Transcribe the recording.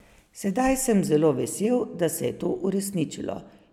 Sedaj sem zelo vesel, da se je to uresničilo.